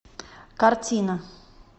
картина